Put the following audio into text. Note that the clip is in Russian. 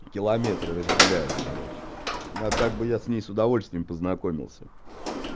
километры разделяют короче а так бы я с ней с удовольствием познакомился